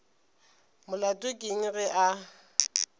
molato ke eng ge a